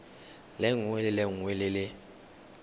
lengwe le lengwe le le